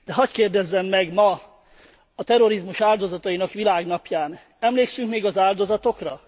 De hadd kérdezzem meg ma, a terrorizmus áldozatainak világnapján, emlékszünk még az áldozatokra?